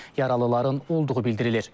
Yaralıların olduğu bildirilir.